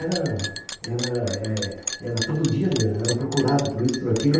era era é era todo dia, era procurado por isso, por aquilo.